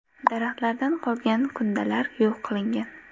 Daraxtlardan qolgan kundalar yo‘q qilingan.